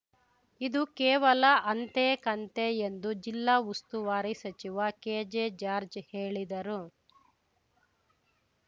ಇದು ಕೇವಲ ಅಂತೆ ಕಂತೆ ಎಂದು ಜಿಲ್ಲಾ ಉಸ್ತುವಾರಿ ಸಚಿವ ಕೆಜೆ ಜಾರ್ಜ್ ಹೇಳಿದರು